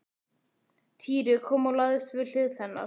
Týri kom og lagðist við hlið hennar.